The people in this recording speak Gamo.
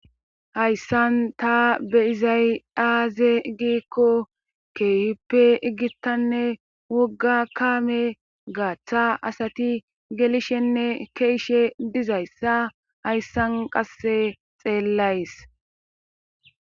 Hayssan ta be izaydaaze giikko keeyippe iggittanne wogga kaame gaaththa asati gelishenne keeshe dizayssa hayssan qasse xeellays